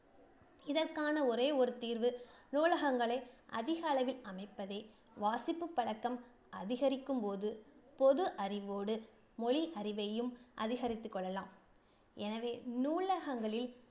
இதற்கான ஒரே ஒரு தீர்வு நூலகங்களை அதிகளவில் அமைப்பதே. வாசிப்பு பழக்கம் அதிகரிக்கும் போது பொது அறிவோடு மொழி அறிவையும் அதிகரித்துக் கொள்ளலாம். எனவே நூலகங்களில்